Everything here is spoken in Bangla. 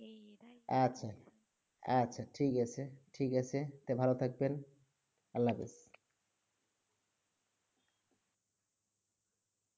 আচ্ছা, আচ্ছা, ঠিক আছে, ঠিক আছে, তা ভালো থাকবেন, আল্লাহ হাফেজ।